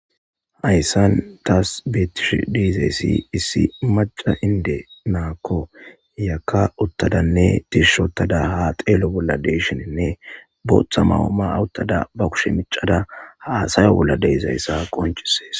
Hayssan tassi beetishe dizay issi macca na'ako Iyaka uttadane pishshi ottada ha xellashe de'shin booththa mayo mayada be kushe miccada haasaya bolla de'izaysa qonccisees.